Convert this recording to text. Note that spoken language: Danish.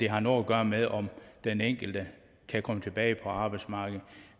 har noget at gøre med om den enkelte kan komme tilbage til arbejdsmarkedet